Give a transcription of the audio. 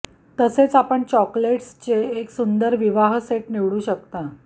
तसेच आपण चॉकोलेट्सचे एक सुंदर विवाह सेट निवडू शकता